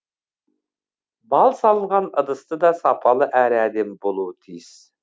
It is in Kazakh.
бал салынған ыдыс та сапалы әрі әдемі болуы тиіс